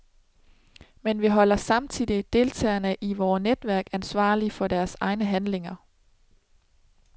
Men vi holder samtidigt deltagerne i vore netværk ansvarlige for deres egne handlinger.